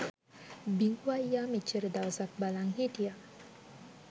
බිඟු අයියා මෙච්චර දවසක් බලන් හිටිය